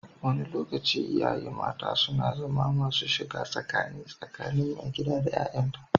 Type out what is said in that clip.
Wani lokaci, iyaye mata suna zama masu shiga tsakani tsakanin maigidan da 'ya'yanta.